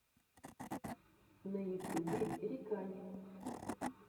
на ютюбе рикани